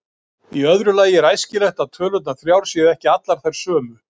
Í öðru lagi er æskilegt að tölurnar þrjár séu ekki allar þær sömu.